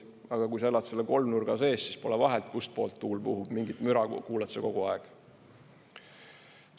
Aga kui sa elad selle kolmnurga sees, siis pole vahet, kust poolt tuul puhub, mingit müra kuuled sa kogu aeg.